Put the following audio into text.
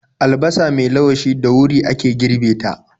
Albasa mai lawashi da wuri ake girbe ta.